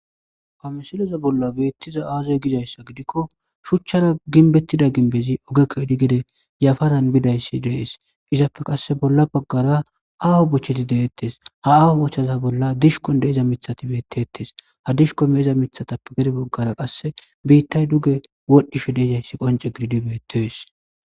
Ha misileza bolla beettiza aazoy gizayssa gidikko shuchchara ginbettida ginbezi ogekko edi gede yafatan bidayssi dees izappe qasse bolla baggara aaho bochcheti deettes ha aho bochchaza bolla dishkon deeza mithati beettettes ha dishko meeza mithatappe gede boggara qasse biittay duge wodhdhisho deezayssi qonce gididibeetoes